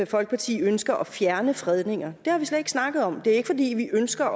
folkeparti ønsker at fjerne fredninger det har vi slet ikke snakket om det er ikke fordi vi ønsker